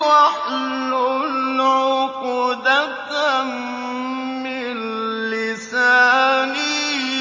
وَاحْلُلْ عُقْدَةً مِّن لِّسَانِي